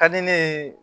Ka di ne ye